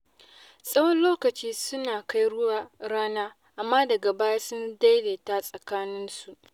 Tsawon lokaci suna kai ruwa rana, amma daga baya sun daidaita tsakaninsu.